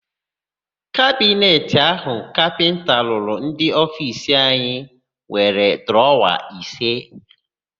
Kabineti áhụ̀ kapịnta rụrụ ofiisi anyị nwere drọwa ise.